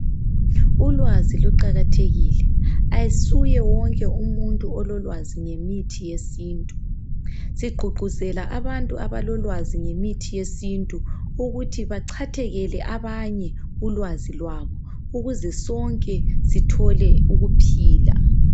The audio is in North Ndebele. Ulwazi luqakathelile ayisuye wonke umuntu ololwazi ngemithi yesintu sigqugquzela abantu abalolwazi ngemithi yesintu ukuthi bachathekele abanye ulwazi lwabo ukuze sonke sithole ukuphila